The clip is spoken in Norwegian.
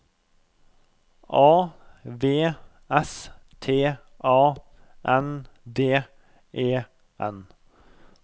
A V S T A N D E N